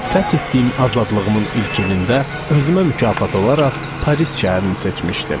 Fəth etdiyim azadlığımın ilk ilində özümə mükafat olaraq Paris şəhərini seçmişdim.